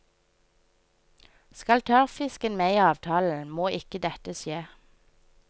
Skal tørrfisken med i avtalen, må ikke dette skje.